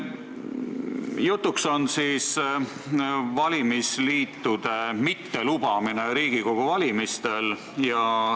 Jutuks on valimisliitude mittelubamine Riigikogu valimistel.